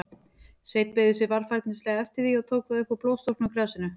Sveinn beygði sig varfærnislega eftir því, og tók það upp úr blóðstorknu grasinu.